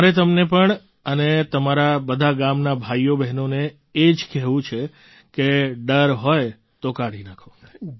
મારે તમને પણ અને મારા બધા ગામનાં ભાઈઓબહેનોને એ જ કહેવું છે કે ડર હોય તો કાઢી નાખો